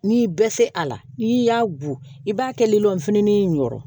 N'i bɛ se a la n'i y'a go i b'a kɛ lilɔnfini in wɔrɔ